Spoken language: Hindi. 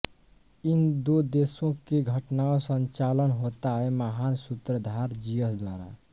इन दो देशों के घटनाओं संचालन होता है महान सूत्रधार ज़ीयस द्वारा